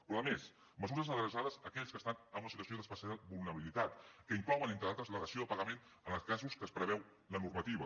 però a més mesures adreçades a aquells que estan en una situació d’especial vulnerabilitat que inclouen entre altres la dació en pagament en els casos que preveu la normativa